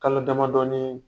Kalo damadɔɔnii